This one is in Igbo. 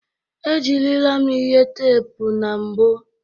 Ejirila m ihe teepu na mbụ.